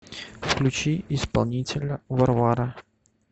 включи исполнителя варвара